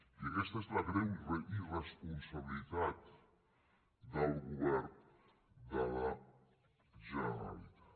i aquesta és la greu irresponsabilitat del govern de la generalitat